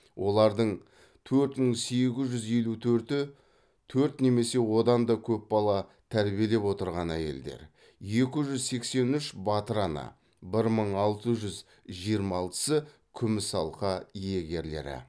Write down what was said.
олардың төрт мың сегіз жүз елу төрті төрт немесе одан да көп бала тәрбиелеп отырған әйелдер екі жүз сексен үш батыр ана бір мың алты жүз жиырма алтысы күміс алқа алқа иегерлері